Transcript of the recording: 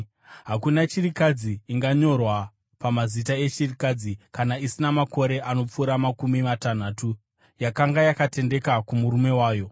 Hakuna chirikadzi inganyorwa pamazita echirikadzi kana isina makore anopfuura makumi matanhatu, yakanga yakatendeka kumurume wayo,